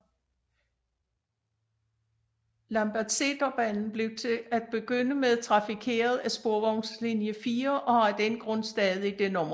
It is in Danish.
Lambertseterbanen blev til at begynde med trafikeret af sporvognslinje 4 og har af den grund stadig det nummer